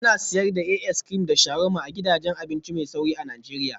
Ana sayar da as crim da sharuwarma a gidajen abinci mai sauri a Najeriya